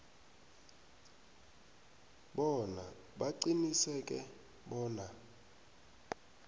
bona baqiniseke bona